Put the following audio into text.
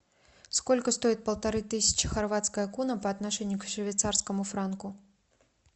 сколько стоит полторы тысячи хорватская куна по отношению к швейцарскому франку